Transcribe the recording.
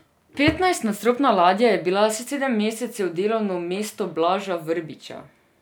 Petnajstnadstropna ladja je bila sedem mesecev delovno mesto Blaža Vrbiča.